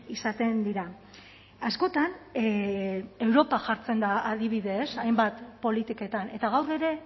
izaten dira askotan europa jartzen da adibide ez hainbat politiketan eta gaur ere